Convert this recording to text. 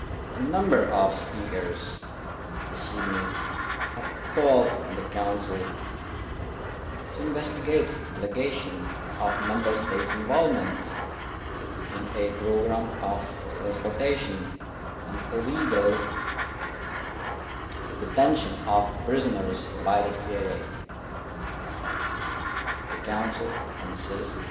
A number of speakers this evening have called on the Council to investigate allegations of Member States' involvement in a programme of transportation and illegal detention of prisoners by the CIA. The Council consists